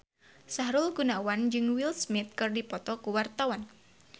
Sahrul Gunawan jeung Will Smith keur dipoto ku wartawan